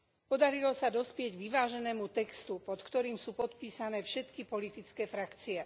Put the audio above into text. Podarilo sa dospieť k vyváženému textu, pod ktorým sú podpísané všetky politické frakcie.